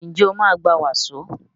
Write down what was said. Njé o ma gbà waso?